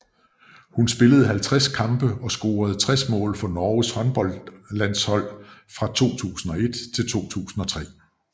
Hun spillede 50 kampe og scorede 60 mål for Norges håndboldlandshold fra 2001 til 2003